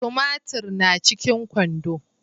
Tumatiri na cikin kwando